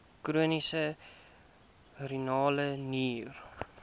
chroniese renale nier